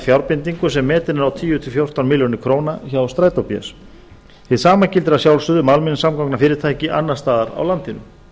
fjárbindingu sem metin er á tíu til fjórtán milljónir króna hjá strætó bs hið sama gildir að sjálfsögðu um almenningssamgangnafyrirtæki annars staðar á landinu